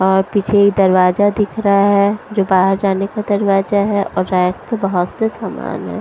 और पीछे ये दरवाजा दिख रहा है जो बाहर जाने का दरवाजा है और रैक पे बहुत से सामान है।